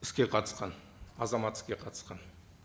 іске қатысқан азамат іске қатысқан